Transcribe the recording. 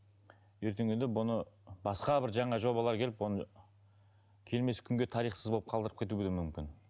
ертеңгіде бұны басқа бір жаңа жобалар келіп оны келмес күнге тарихсыз болып қалдырып кетуге де мүмкін